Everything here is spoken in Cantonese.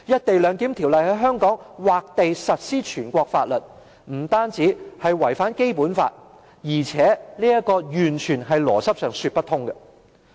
《條例草案》在香港劃地實施全國性法律，不單違反《基本法》，而且在邏輯上完全說不過去。